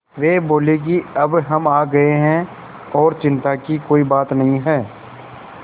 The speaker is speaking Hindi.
वे बोले कि अब हम आ गए हैं और चिन्ता की कोई बात नहीं है